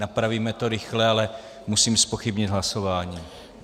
Napravíme to rychle, ale musím zpochybnit hlasování.